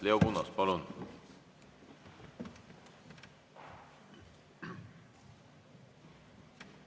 Leo Kunnas, palun!